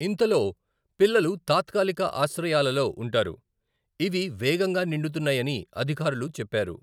ఇంతలో, పిల్లలు తాత్కాలిక ఆశ్రయాలలో ఉంటారు, ఇవి వేగంగా నిండుతున్నాయని అధికారులుచెప్పారు.